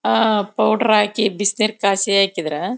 ಆಹ್ಹ್ powder ಹಾಕಿ ಬಿಸಿ ನೀರ್ ಕಾಯಿಸಿ ಹಾಕಿದ್ರ--